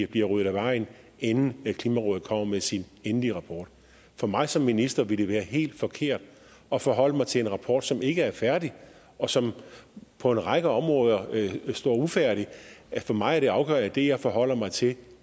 bliver ryddet af vejen inden klimarådet kommer med sin endelige rapport for mig som minister ville det være helt forkert at forholde mig til en rapport som ikke er færdig og som på en række områder står ufærdig for mig er det afgørende at det jeg forholder mig til